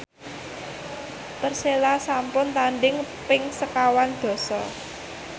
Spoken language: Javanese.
Persela sampun tandhing ping sekawan dasa